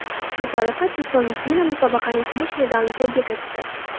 Shu tariqa Chusovitina musobaqaning kumush medalini qo‘lga kiritdi.